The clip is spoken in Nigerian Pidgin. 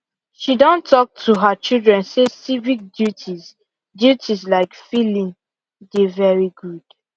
she Accepted talk to her children say civic duties duties like filling dey very good